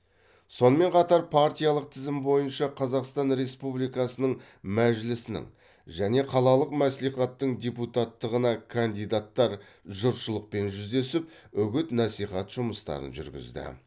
сонымен қатар партиялық тізім бойынша қазақстан республикасының мәжілісінің және қалалық мәслихаттың депутаттығына кандидаттар жұртшылықпен жүздесіп үгіт насихат жұмыстарын жүргізді